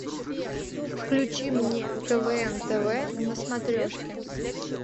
включи мне квн тв на смотрешке